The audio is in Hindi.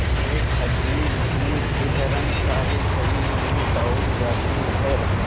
एक अजीब सी सिहरन सारे शरीर में दौड़ जाती है